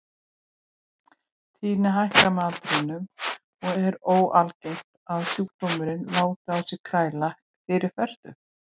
Tíðnin hækkar með aldrinum og er óalgengt að sjúkdómurinn láti á sér kræla fyrir fertugt.